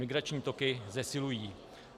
Migrační toky zesilují.